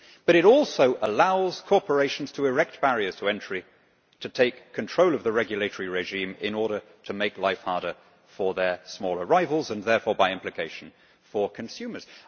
But it also allows corporations to erect barriers to entry to take control of the regulatory regime in order to make life harder for their smaller rivals and therefore, by implication, for consumers.